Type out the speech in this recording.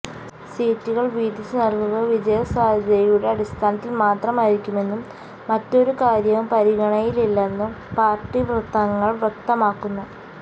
സീറ്റുകള് വീതിച്ച് നല്കുക വിജയസാധ്യതയുടെ അടിസ്ഥാനത്തില് മാത്രമായിരിക്കുമെന്നും മറ്റൊരു കാര്യവും പരിഗണനയിലില്ലെന്നും പാര്ട്ടി വൃത്തങ്ങള് വ്യക്തമാക്കുന്നു